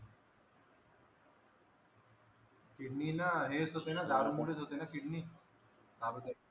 kidney ला हेच होत ना दारू मुळेच होते ना किडनी